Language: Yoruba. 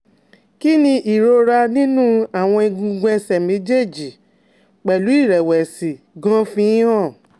Kí ni ìrora ninu àwọn egungun ẹsẹ̀ méjèèjì pẹ̀lu irẹ̀wẹ̀sì gan-an ń fi hàn?